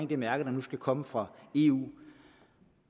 det mærke der nu skal komme fra eu